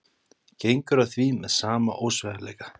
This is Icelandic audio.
Gengur að því með sama ósveigjanleika.